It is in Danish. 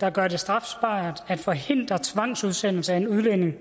der gør det strafbart at forhindre tvangsudsendelse af en udlænding